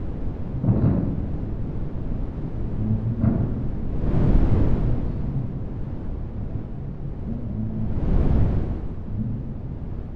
Mo se atejade awon ile-ise mẹwa ile-ise mẹwa akoko nipa atọka iwon ni isalẹ.